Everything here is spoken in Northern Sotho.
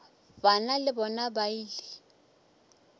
bana le bona ba ile